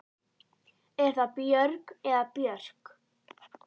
Er það Björg eða Björk?